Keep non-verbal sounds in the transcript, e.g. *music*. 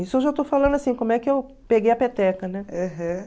Isso eu já estou falando assim, como é que eu peguei a peteca, né? *unintelligible*